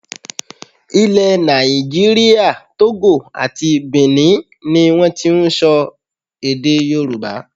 Ilẹ̀ nàìjíríà, Togo àti Bìní ni wọ́n ti ń sọ èdè Yorùbá.